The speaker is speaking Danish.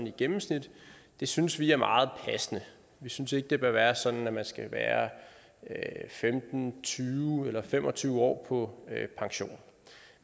i gennemsnit det synes vi er meget passende vi synes ikke det bør være sådan at man skal være femten tyve eller fem og tyve år på pension